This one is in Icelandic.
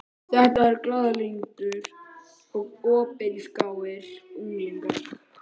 Þetta eru glaðlyndir og opinskáir unglingar.